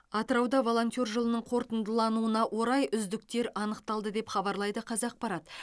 атырауда волонтер жылының қорытындылануына орай үздіктер анықталды деп хабарлайды қазақпарат